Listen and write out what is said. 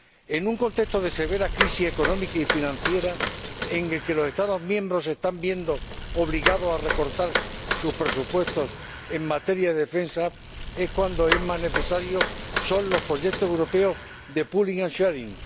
En un contexto de severa crisis económica y financiera, en el que los Estados miembros se están viendo obligados a recortar sus presupuestos en materia de defensa, es cuando más necesarios son los proyectos europeos de Pooling and Sharing